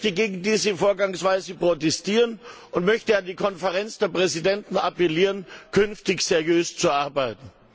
Ich möchte gegen diese Vorgangsweise protestieren und möchte an die Konferenz der Präsidenten appellieren, künftig seriös zu arbeiten!